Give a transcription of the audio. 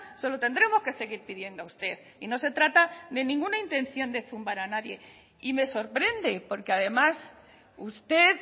se lo tendremos que seguir pidiendo a usted y no se trata de ninguna intención de zumbar a nadie y le sorprende porque además usted